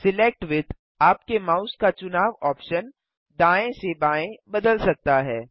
select with आपके mouse का चुनाव ऑप्शन दाएँ से बाएँ बदल सकता है